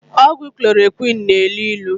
Ọgwụ klorokwinu na-elu ilu.